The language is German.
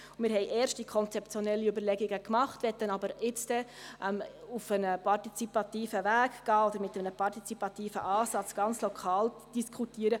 Wir haben erste konzeptionelle Überlegungen gemacht, möchten aber nun auf einen partizipativen Weg gehen oder diese mit einem partizipativen Ansatz ganz lokal diskutieren.